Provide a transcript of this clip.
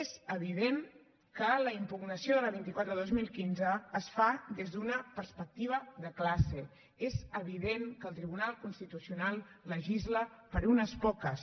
és evident que la impugnació de la vint quatre dos mil quinze es fa des d’una perspectiva de classe és evident que el tribunal constitucional legisla per a unes poques